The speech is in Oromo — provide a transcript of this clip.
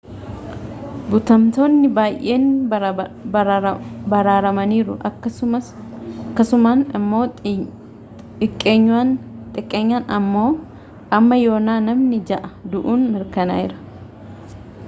butamtoonni baayyeen baraaramaniiru akkasumaan immoo xiqqeenyaan amma yoonaa namni jaha du'uun mirkanaayeera